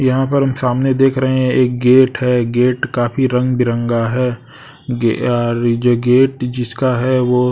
यहां पर हम सामने देख रहे हैं एक गेट है गेट काफी रंग बिरंगा है गे अ री गे गेट जिसका है वो--